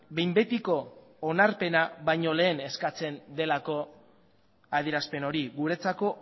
behin betiko onarpena baino lehen eskatzen delako adierazpen hori guretzako